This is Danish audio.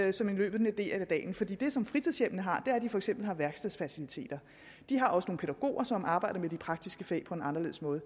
ind som en løbende del af dagen for det det som fritidshjemmene har er at de for eksempel har værkstedsfaciliteter de har også nogle pædagoger som arbejder med de praktiske fag på en anderledes måde